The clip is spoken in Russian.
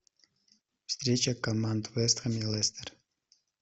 встреча команд вест хэм и лестер